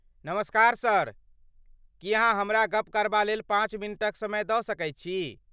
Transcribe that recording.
नमस्कार सर, की अहाँ हमरा गप करबा लेल पाँच मिनटक समय दऽ सकैत छी।